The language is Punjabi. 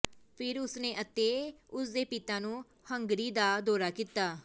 ਫਿਰ ਉਸ ਨੇ ਅਤੇ ਉਸ ਦੇ ਪਿਤਾ ਨੂੰ ਹੰਗਰੀ ਦਾ ਦੌਰਾ ਕੀਤਾ